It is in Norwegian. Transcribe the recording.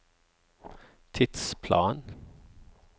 tidsplan